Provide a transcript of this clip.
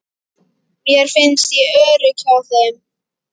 Mér fannst ég örugg hjá þeim.